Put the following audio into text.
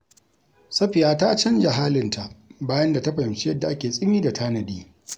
Safiya ta canja halinta bayan ta fahimci yadda ake tsimi da tanadi.